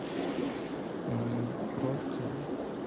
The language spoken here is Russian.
мм просто